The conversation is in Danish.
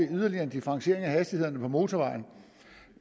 yderligere en differentiering af hastighederne på motorvejene og